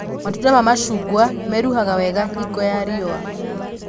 Matunda ma macungwa meruhaga wega hingo ya riũa